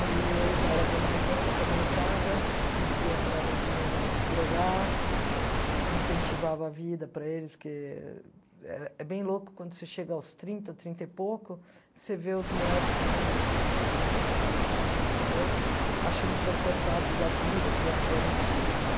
E eu já era bem mais velha que a molecada, pedia para a neguinha não se drogar, incentivava a vida para eles, que é bem louco quando você chega aos trinta, trinta e pouco, você vê os moleque de vinte, que sei lá, se vocês têm vinte, vinte e um, vinte e dois, achando que estão cansados da vida, que já fizeram tudo, né?